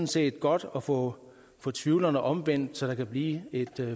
set godt at få få tvivlerne omvendt så der kan blive et